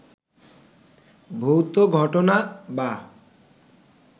ভৌত ঘটনা বা